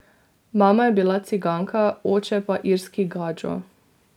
Mama je bila ciganka, oče pa irski gadžo.